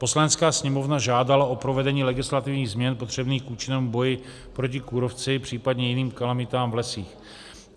Poslanecká sněmovna žádala o provedení legislativních změn potřebných k účinnému boji proti kůrovci, případně jiným kalamitách v lesích.